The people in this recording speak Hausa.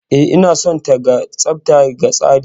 E, ina son ta. Ga tsafta ga tsari